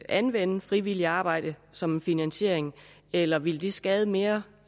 anvende frivilligt arbejde som en finansiering eller vil det skade mere